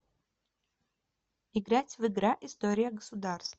играть в игра история государства